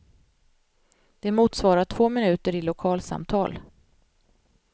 Det motsvarar två minuter i lokalsamtal.